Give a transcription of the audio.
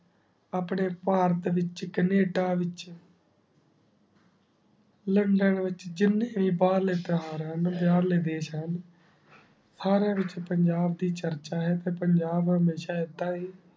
ਅਪਨੇ ਪਰਤ ਵਿਚ ਕੈਨੇਡਾ ਵਿਚ ਲੋੰਦੋੰ ਵਿਚ ਜਿੰਨੇ ਭਰਲੇ ਇਤ੍ਹਾਰ ਹੁਣ ਓਨ੍ਡੇ ਹਰ ਲੇ ਦਿਸ਼ ਹੁਣ ਸਰਯ ਵਿਚ ਪੰਜਾਬ ਦੀ ਚਰਚਾ ਹੁਣ ਤੇ ਪੰਜਾਬ ਹਮ੍ਯ੍ਸ਼ਾ ਇੱਦਾ ਹੀ